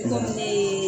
Komi ne ye